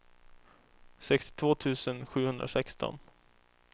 sextiotvå tusen sjuhundrasexton